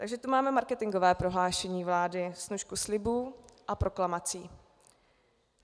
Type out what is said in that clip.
Takže to máme marketingové prohlášení vlády - snůšku slibů a proklamací.